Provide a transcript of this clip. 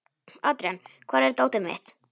Adrian, hvar er dótið mitt?